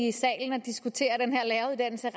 i salen og diskutere den her læreruddannelse